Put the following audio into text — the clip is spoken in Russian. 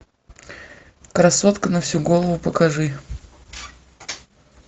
красотка на всю голову покажи